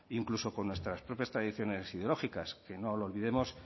incluso con nuestras propias tradiciones ideológicas que no lo olvidemos